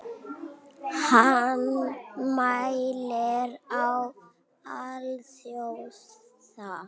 Hann mælir á alþjóða